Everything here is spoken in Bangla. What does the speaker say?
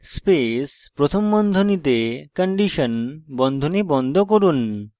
while space প্রথম বন্ধনীতে condition বন্ধনী বন্ধ করুন